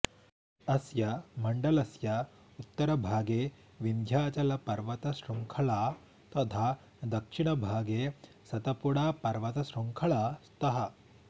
अस्य मण्डलस्य उत्तरभागे विन्ध्याचलपर्वतशृङ्खला तथा दक्षिणभागे सतपुडापर्वतशृङ्खला स्तः